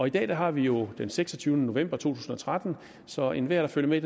i dag har vi jo den seksogtyvende november to tusind og tretten så enhver der følger med